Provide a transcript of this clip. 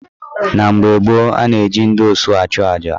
Na mgbe gboo, a na-eji ndị osu achuaja.